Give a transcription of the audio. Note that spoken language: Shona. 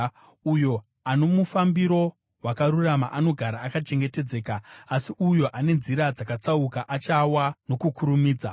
Uyo ano mufambiro wakarurama anogara akachengetedzeka, asi uyo ane nzira dzakatsauka achawa nokukurumidza.